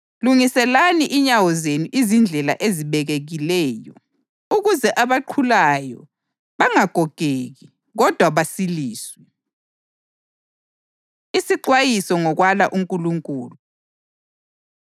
“Lungiselani inyawo zenu izindlela ezibekekileyo,” + 12.13 Izaga 4.26 ukuze abaqhulayo bangagogeki, kodwa basiliswe. Isixwayiso Ngokwala UNkulunkulu